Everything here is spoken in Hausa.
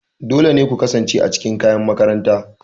Dole ne ku kasance a cikin kayan makaranta.